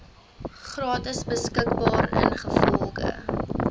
gratis beskikbaar ingevolge